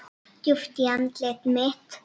Djúpt í andlit mitt.